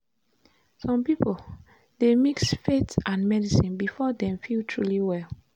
some people dey mix faith and medicine before dem feel truly well.